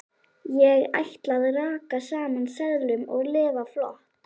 Ég ætla að raka saman seðlum og lifa flott.